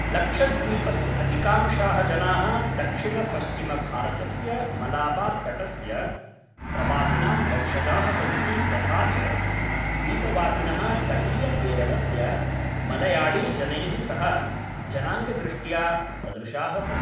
लक्षद्वीपस्य अधिकांशाः जनाः दक्षिणपश्चिमभारतस्य मलाबार्तटस्य प्रवासिनां वंशजाः सन्ति तथा च द्वीपवासिनः तटीयकेरळस्य मळयाळीजनैः सह जनाङ्गदृष्ट्या सदृशाः सन्ति।